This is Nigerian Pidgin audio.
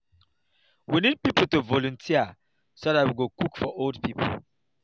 we need people to volunteer so dat we go cook for old people